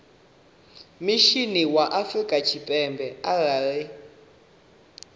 mishinini wa afrika tshipembe arali